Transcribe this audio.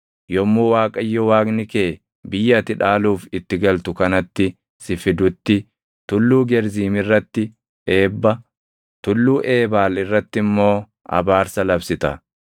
Yommuu Waaqayyo Waaqni kee biyya ati dhaaluuf itti galtu kanatti si fidutti Tulluu Gerziim irratti eebba, Tulluu Eebaal irratti immoo abaarsa labsita.